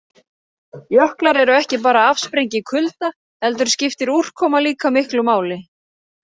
Jöklar eru ekki bara afsprengi kulda heldur skiptir úrkoma líka miklu máli.